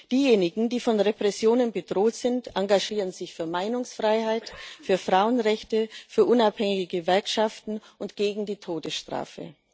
Diejenigen, die von Repressionen bedroht sind, engagieren sich für Meinungsfreiheit, für Frauenrechte, für unabhängige Gewerkschaften und gegen die Todesstrafe.